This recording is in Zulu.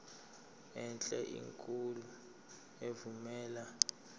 enhle enkulu evumela